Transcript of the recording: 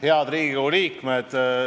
Head Riigikogu liikmed!